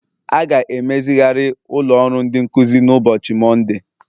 A ga-emezigharị ụlọ ọrụ ndị nkuzi na ụbọchị Mọnde